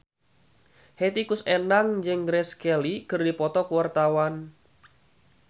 Hetty Koes Endang jeung Grace Kelly keur dipoto ku wartawan